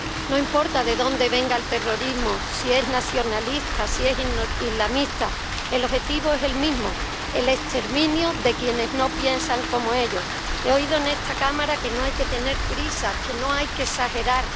No importa de dónde venga el terrorismo —si es nacionalista, si es islamista—, el objetivo es el mismo el exterminio de quienes no piensan como ellos. He oído en esta Cámara que no hay que tener prisa, que no hay que exagerar.